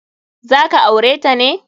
Za ka aure ta ne?